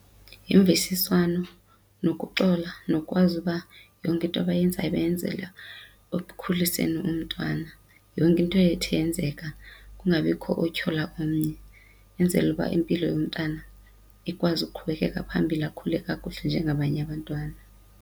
Yimvisiswano, nokuxola nokwazi uba yonke into abayenzayo bayenzela ekukhuliseni umntwana, yonke into ethe yenzeka kungabikho otyhola omnye, enzele uba impilo yomntwana ikwazi uqhubekeka phambili, akhule kakuhle njengabanye abantwana.